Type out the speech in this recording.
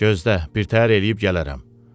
Gözlə, birtəhər eləyib gələrəm.